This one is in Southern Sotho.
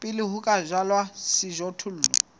pele ho ka jalwa sejothollo